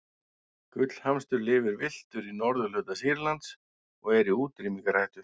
gullhamstur lifir villtur í norðurhluta sýrlands og er í útrýmingarhættu